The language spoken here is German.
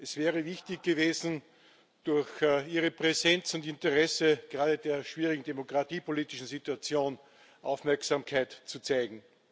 Es wäre wichtig gewesen, durch ihre Präsenz und ihr Interesse gerade in der schwierigen demokratiepolitischen Situation Aufmerksamkeit zu zeigen.